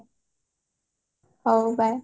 ହଉ bye